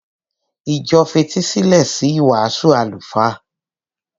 Ìjọ fetísílẹ̀ sí ìwàásù àlùfáà.